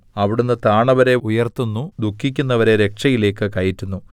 അവിടുന്ന് താണവരെ ഉയർത്തുന്നു ദുഃഖിക്കുന്നവരെ രക്ഷയിലേക്കു കയറ്റുന്നു